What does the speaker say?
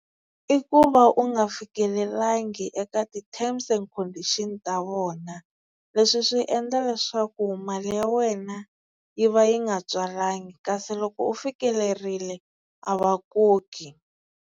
I ku va u nga fikelelangi eka ti-terms and condition ta vona leswi swi endla leswaku mali ya wena yi va yi nga tswalanga kasi loko u fikelerile a va koki.